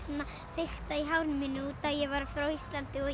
fikta í hárinu mínu út að ég var frá Íslandi og